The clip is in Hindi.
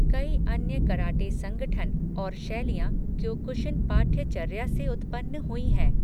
कई अन्य कराटे संगठन और शैलियां क्योकुशिन पाठ्यचर्या से उत्पन्न हुई हैं।